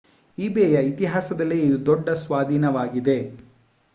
ಈಬೇಯ ಇತಿಹಾಸದಲ್ಲೇ ಇದು ದೊಡ್ಡ ಸ್ವಾಧೀನವಾಗಿದೆ